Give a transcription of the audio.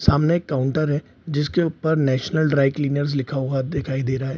सामने एक काउंटर है जिसके ऊपर नेशनल ड्राई क्लीनर लिखा हुआ दिखाई दे रहा है।